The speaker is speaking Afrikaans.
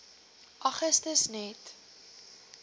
augustus net